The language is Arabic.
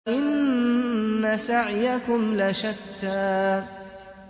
إِنَّ سَعْيَكُمْ لَشَتَّىٰ